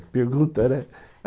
Que pergunta, né?